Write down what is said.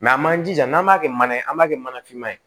an m'an jija n'an b'a kɛ mana ye an b'a kɛ mana finma ye